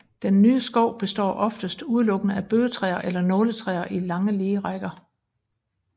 Den nye skov består oftest udelukkende af bøgetræer eller nåletræer i lange lige rækker